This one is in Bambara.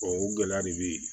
o gɛlɛya de bɛ yen